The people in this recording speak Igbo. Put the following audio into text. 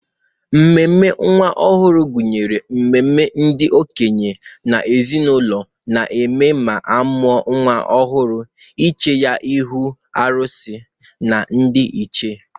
Ememe nwa ọhụrụ gụnyere ememe ndị okenye n'ezenaụlọ na-eme ma amụa nwa ọhụrụ iche ya n'ihu arụsị na ndị ichee.